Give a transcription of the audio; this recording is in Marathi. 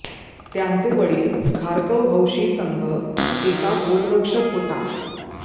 त्यांचे वडील खारकोव हौशी संघ एका गोलरक्षक होता